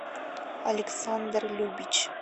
александр любич